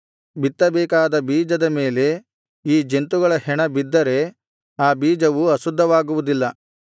ಬಿತ್ತಬೇಕಾದ ಬೀಜದ ಮೇಲೆ ಈ ಜಂತುಗಳ ಹೆಣ ಬಿದ್ದರೆ ಆ ಬೀಜವು ಅಶುದ್ಧವಾಗುವುದಿಲ್ಲ